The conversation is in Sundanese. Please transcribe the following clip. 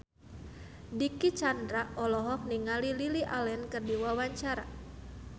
Dicky Chandra olohok ningali Lily Allen keur diwawancara